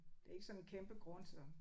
Det ikke sådan en kæmpe grund så